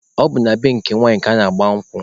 Ọ bụ na be nke nwanyị ka ana-agba nkwụ.